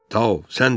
Tao, sən de.